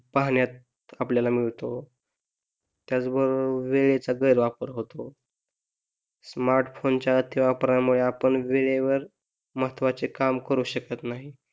पाहण्यात आपल्याला मिळतो त्याच बरोबर वेळेचा गैर वापर होतो स्मार्टफोनच्या अतिवापरामुळे आपण वेळेवर महत्वाचे काम करू शकत नाही